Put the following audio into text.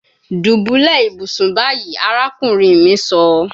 Dubulẹ ibusun bayi, arakunrin mi sọ